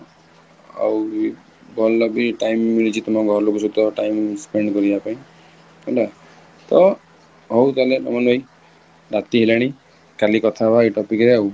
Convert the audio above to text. ଆଉ ବି ଭଲ ବି time ମିଳିଛି ତମ ଘର ଲୋକଙ୍କ ସହିତ time spend କରିବା ପାଇଁ ହେଲା ତ, ହଉ ତାହାଲେ ଅମନ ଭାଇ ରାତି ହେଲାଣି କଲି କଥା ହବ ଏଇ topic ରେ ଆଉ